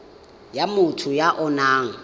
ya motho ya o nang